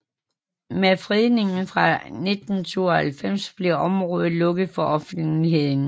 Med fredningen fra 1992 blev området lukket for offentligheden